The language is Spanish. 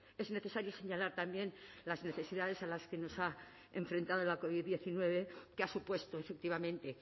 es necesario señalar también las necesidades a las que nos ha enfrentado la covid diecinueve que ha supuesto efectivamente